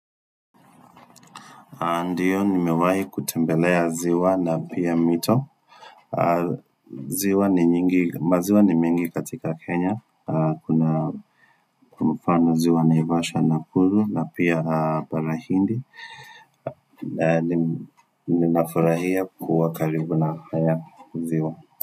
Ndio, nimewahi kutembelea ziwa na pia mito. Ziwa ni nyingi, maziwa ni mingi katika Kenya. Kuna mfano ziwa naivashwa, nakuru na pia bara hindi. Ninafurahia kuwa karibu na haya maziwa.